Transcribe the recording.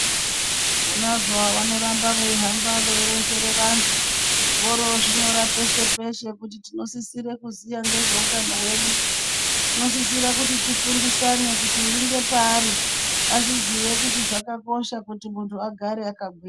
Vonazvo vanoramba veihamba veironzera vantu vorozvinyora peshe peshe kuti tinosisira kuziva nezvehutano hwedu. Tinosisira kuti tifundisane kuti uri ngepaari azviziye kuti zvakakosha kuti muntu agare akagwinya.